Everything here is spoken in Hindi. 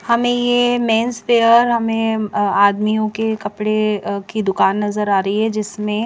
हमें ये मेंस वियर हमें आदमियों के कपड़े अ की दुकान नजर आ रही है जिसमें--